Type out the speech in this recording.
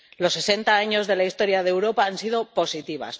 Los sesenta años de la historia de Europa han sido positivos.